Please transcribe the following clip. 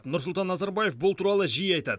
нұрсұлтан назарбаев бұл туралы жиі айтады